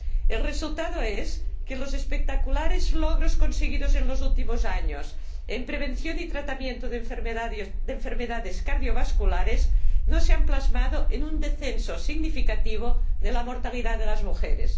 El resultado es que los espectaculares logros conseguidos en los últimos años en prevención y tratamiento de enfermedades cardiovasculares no se han plasmado en un descenso significativo de la mortalidad de las mujeres.